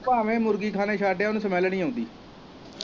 ਭਾਵੇਂ ਮੁਰਗੀ ਖਾਨੇ ਛੱਡ ਆ ਉਨੂੰ ਸਮੈਲ ਨੀ ਆਉਂਦੀ।